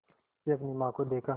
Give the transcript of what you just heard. से अपनी माँ को देखा